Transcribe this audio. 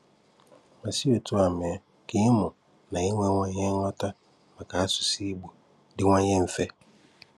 Ma si otú a mee ka ịmụ na inwewanye nghọta maka asụsụ Ìgbò dịwanye mfe.